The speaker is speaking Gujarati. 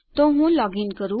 તો હું લોગીન કરું